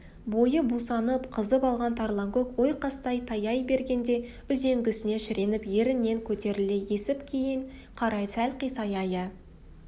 бойы бусанып қызып алған тарланкөк ойқастай таяй бергенде үзеңгісіне шіреніп ерінен көтеріле түсіп кейін қарай сәл қисая иә